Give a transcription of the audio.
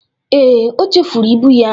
Ee, o chefuru ibụ ya